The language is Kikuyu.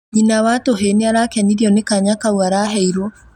Nyina wa tũhĩ niarakenirio nĩ kaanya kau araheirwo